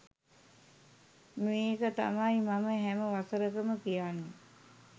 මේක තමයි මම හැම වසරකම කියන්නේ